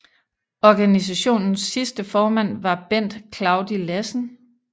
Organisationens sidste formand var Bent Claudi Lassen